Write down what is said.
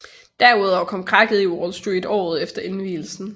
Derudover kom krakket i Wall Street året efter indvielsen